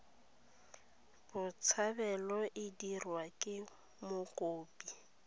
botshabelo e dirwa ke mokopi